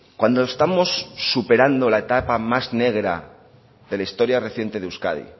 cuando estamos superando la etapa más negra de la historia reciente de euskadi